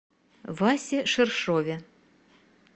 васе ширшове